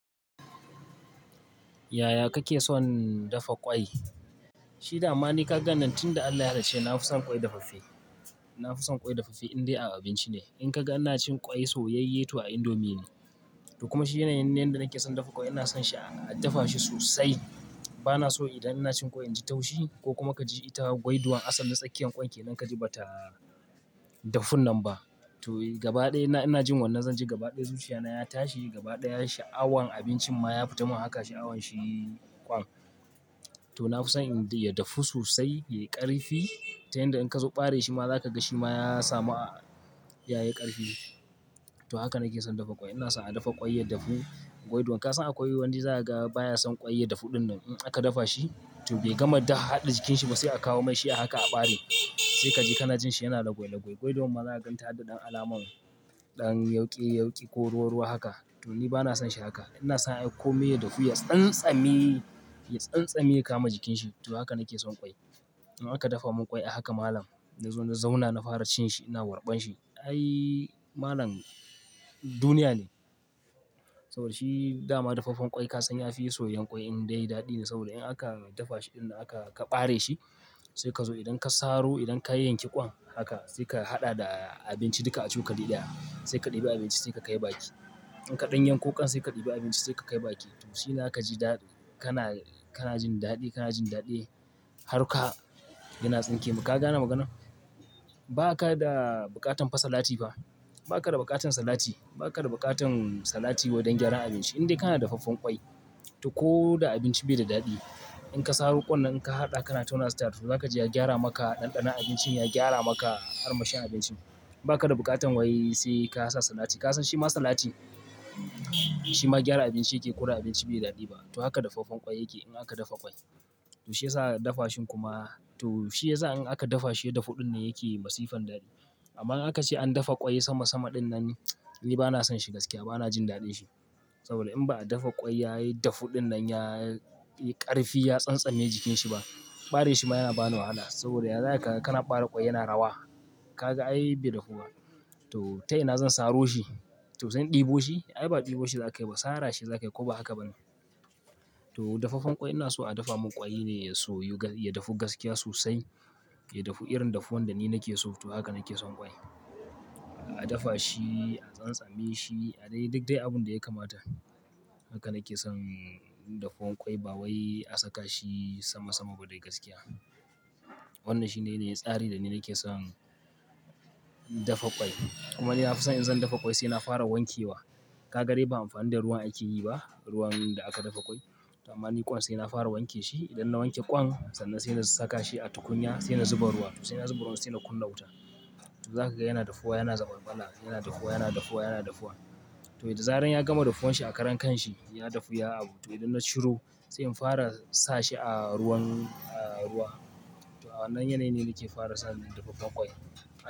Yaya kake son dafa ƙwai? Shi dama ni ka ga nan tun da Allah ya halice ni, na fi son ƙwai dafaffe. Na fi son ƙwai dafaffe indai a abinci ne. In ka ga ina cin ƙwai soyayye to a indomie ne. To kuma shi yanayin da nake son dafa ƙwai ina son shi a dafa shi sosai. Ba na so idan ina cin ƙwai inji taushi ko kuma ka ji ita gwaiduan asalin tsakiyar ƙwan ke nan ka ji ba ta dafun nan ba. To gaba ɗaya ina jin wannan zan ji gaba ɗaya zuciya na ya tashi, gaba ɗaya sha'awan abincin ma ya fita mun haka sha'awan shi ƙwan. To na fi son indai ya dafu sosai, ya yi ƙarfi ta yanda in ka zo bare shi ma za ka ga shi ma ya sami a ya yi ƙarfi. To haka nake son dafa ƙwai. Ina son a dafa ƙwai ya dafu gwaiduan. Ka son akwai wani za ka ga baya son ƙwai ya dafu ɗin nan. In aka dafa shi to bai gama dik haɗa jikin shi ba sai a kawo mai shi a haka a bare. Sai ka ji kana jin shi yana lagwi lagwi. Gwaiduan ma za a gan ta da ɗan alamar ɗan yauke yauke ko ruwa ruwa haka. To ni ba na son shi haka. Ina son ya komai ya dafu, ya tsantsame ya tsantsame ya kama jikin shi. To haka nake son ƙwai. In aka dafa mun ƙwai a haka malam na zo na zauna na fara cin shi ina warɓan shi. Ai malam duniya ne. Saboda shi dama dafaffen ƙwai ka san ya fi soyan ƙwai indai daɗi ne saboda in aka dafa shi ɗin nan aka ka bare shi sai ka zo idan ka saro idan ka yanke ƙwan haka sai ka haɗa da abinci duka a cokali ɗaya. Sai ka ɗibi abinci sai ka kai baki. In ka ɗan yanko ƙwan sai ka ɗibi abinci sai ka kai baki. To shi ina ka ji daɗi. Kana, kana jin daɗi, kana jin daɗi har ka gina tsinke. Ka ga na magana? Ba ka da buƙatan fasa lati ba. Ba ka da buƙatan salati. Ba ka da buƙatan salati wajen gyaran abinci indai kana da dafaffen ƙwai. To ko da abinci bai da daɗi, in ka sa ro ƙwan nan ka haɗa kana tauna starf za ka ji ya gyara maka ɗanɗanon abincin, ya gyara maka ar mashin abincin. Ba ka da buƙatan wai sai ka sa salati. Ka san shi ma salati? Shi ma gyara abinci yake yi ko da abinci bai da daɗi ba. To haka dafaffen ƙwai yake in aka dafa ƙwai. To shi yasa dafa shi kuma to shi yasa in aka dafa shi ya dafu ɗin nan yake yi masifan daɗi. Amma in aka ce an dafa ƙwai sama sama ɗin nan ni ba na son shi gaskiya, ba na jin daɗin shi. Saboda in ba a dafa ƙwai ya yi dafu ɗin nan, ya ƙarfi, ya tsantsame jikin shi ba, bare shi ma yana bani wahala saboda ya zai ka kana bare ƙwai yana rawa. Ka ga ai bai dafu ba. To ta ina zan saro shi? To zan ɗebo shi? Ai ba ɗebo shi za ka yi ba, sara shi za ka yi ko ba haka ba ne? To dafaffen ƙwai ina so a dafa mun ƙwai ne ya soyu ga-- ya dafu gaskiya sosai. Ya dafu irin dafuwan da ni nake so. To haka nake son ƙwai. A dafa shi, a tsantsame shi, a dai duk dai abun da ya kamata. Haka nake son dafaffen ƙwai ba wai a saka shi sama sama ba dai gaskiya. Wannan shine ne tsari da ni nake son dafa ƙwai. Kuma ni na fi son in zan dafa ƙwai sai na fara wanke wa. Ka ga dai ba anfani da ruwan ake yi ba, ruwan da aka dafa ƙwai. Da dama ni ƙwan sai na fara wanke shi. Idan na wanke kwan sanan sai in sa kashi atukunya sannan sai in zuba ruwa sai nazuba ruwa sannan sai in kunna wuta to za ka ga yana dafuwa, yana zabarbala, yana dafuwa, yana dafuwa, yana dafuwa. To da zarar ya gama dafuwan shi a karan kan shi ya dafu, ya abu. To idan na shiro sai in fara sa shi a ruwan, a ruwa. To a wannan yanayin ne nake fara sa na dafaffen ƙwai.